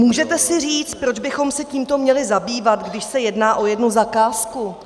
Můžete si říci, proč bychom se tímto měli zabývat, když se jedná o jednu zakázku.